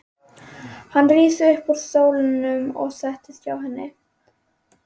Hann rís upp úr stólnum og sest hjá henni.